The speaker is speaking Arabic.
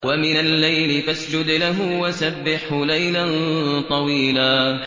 وَمِنَ اللَّيْلِ فَاسْجُدْ لَهُ وَسَبِّحْهُ لَيْلًا طَوِيلًا